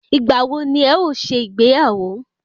Ìgbà wo ni ẹ o ṣe ìgbéyàwó?